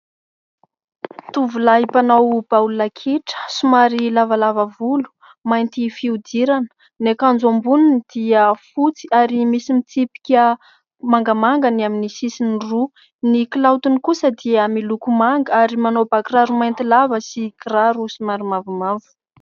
Tovolahy mpanao baolina kitra somary lavalava volo, mainty fihodirana ny akanjo amboniny dia fotsy ary misy mitsipika mangamanga ny amin'ny sisiny roa ny kilaotiny kosa dia miloko manga ary manao bakiraro mainty lava sy kiraro somary mavomavo.